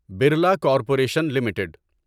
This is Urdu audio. Birla Corporation limited